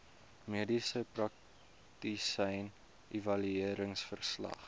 mediese praktisyn evalueringsverslag